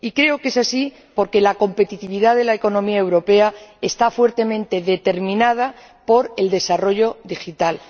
Y creo que es así porque la competitividad de la economía europea está fuertemente determinada por el desarrollo digital.